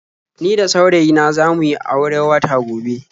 Ni da saurayi na za mu yi aure watan gobe.